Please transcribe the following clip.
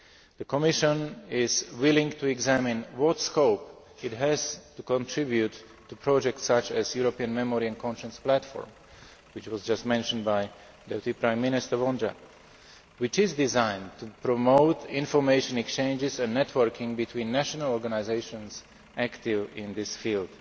The Commission is willing to examine what scope it has to contribute to projects such as a European Memory and Conscience Platform, which was just mentioned by Deputy Prime Minister Vondra, which is designed to promote information exchanges and networking between national organisations active in this field.